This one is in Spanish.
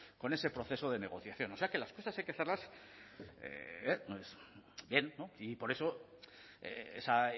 con ese proceso de negociación o sea que las cosas hay que hacerlas bien y por eso esa